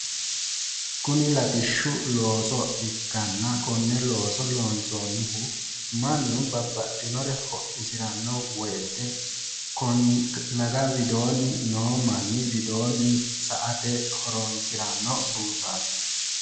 Kuni latishshu looso ikkanna konne looso loonsoonnihu mannu babbaxxenore hodhisiranno woyiite laga widoonni noo manni sa"ate widoonni horoonsiranno buusaati.